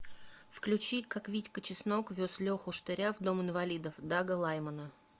включи как витька чеснок вез леху штыря в дом инвалидов дага лаймана